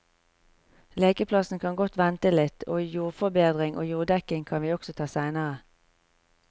Lekeplassen kan godt vente litt, og jordforbedring og jorddekking kan vi også ta seinere.